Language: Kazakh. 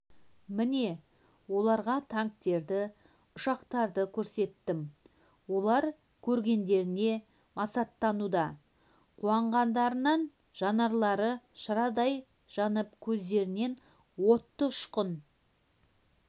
міне оларға танктерді ұшақтарды көрсеттім олар көргендеріне масаттануда қуанғандарынан жанарлары шырадай жанып көздерінен оттың ұшқыны